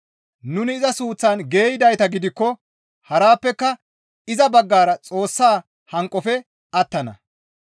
Nuni iza suuththan geeyidayta gidikko harappeka iza baggara Xoossa hanqofe attana.